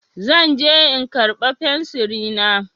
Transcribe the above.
Zan je in karɓa fensiri na.